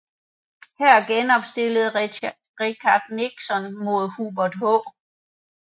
Her genopstillede Richard Nixon mod Hubert H